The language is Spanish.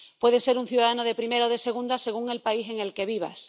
Puedes ser un ciudadano de primera o de segunda, según el país en el que vivas.